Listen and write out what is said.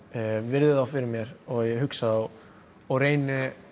virði þá fyrir mér og ég hugsa þá og reyni